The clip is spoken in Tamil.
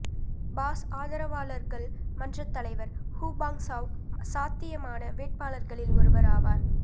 பாஸ் ஆதரவாளர்கள் மன்றத் தலைவர் ஹு பாங் சாவ் சாத்தியமான வேட்பாளர்களில் ஒருவர் ஆவார்